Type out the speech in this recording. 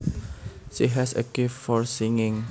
She has a gift for singing